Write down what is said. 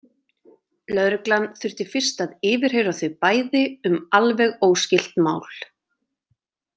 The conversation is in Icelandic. Lögreglan þurfti fyrst að yfirheyra þau bæði um alveg óskylt mál.